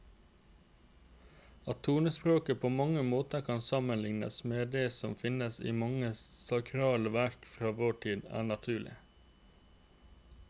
At tonespråket på mange måter kan sammenlignes med det som finnes i mange sakrale verker fra vår tid, er naturlig.